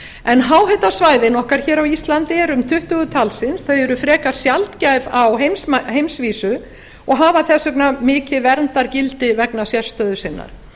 byggð háhitasvæðin okkar á íslandi eru um tuttugu talsins þau eru frekar sjaldgæf á heimsvísu og hafa þess vegna mikið verndargildi vegna sérstöðu sinnar